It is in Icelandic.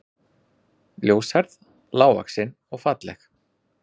Ljóshærð, lágvaxin og falleg